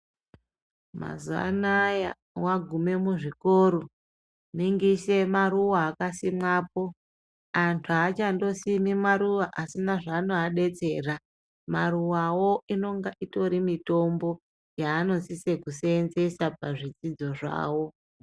Mazuva anaya vagume muzvikoro mingise maruva akasimwapo. Antu hachandosimi maruva asina zvanoabetsera, maruvavo inonga itori mitombo yaanosisa kusenzesa pazvidzidzo zvavo.